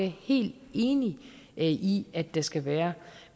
helt enig i at der skal være